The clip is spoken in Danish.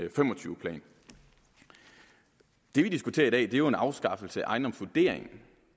og fem og tyve plan det vi diskuterer i dag er jo en afskaffelse af ejendomsvurderingen